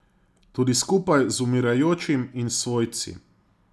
Tudi skupaj z umirajočim in s svojci.